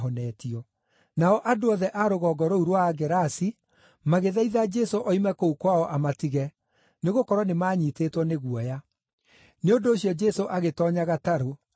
Nao andũ othe a rũgongo rũu rwa Agerasi magĩthaitha Jesũ oime kũu kwao amatige, nĩgũkorwo nĩmanyiitĩtwo nĩ guoya. Nĩ ũndũ ũcio Jesũ agĩtoonya gatarũ agĩthiĩ.